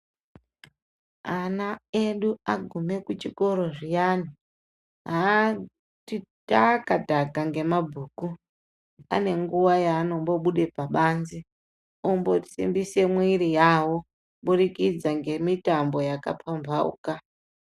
Ana edu agume kuchikoro zviyani. Haati taka taka ngemabhuku, ane nguwa yaanombobude pabanze ombosimbise mwiri yawo kubudikidza ngemitambo yakapambauka.